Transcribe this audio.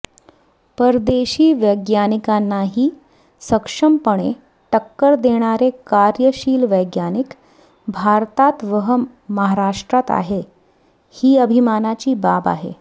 परदेशी वैज्ञानिकांनाही सक्षमपणे टक्कर देणारे कार्यशील वैज्ञानिक भारतात व महाराष्ट्रात आहेत ही अभिमानाची बाब आहे